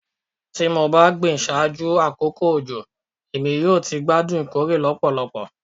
Ti mo ba gbin ṣaaju akoko ojo Emi yoo ti gbadun ikore lọpọlọpọ